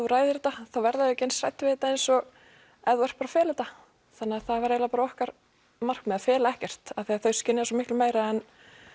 þú ræðir þetta þá verða þau ekki eins hrædd við þetta eins og ef þú ert bara að fela þetta þannig það var eiginlega bara okkar markmið að fela ekkert af því að þau skynja svo miklu meira en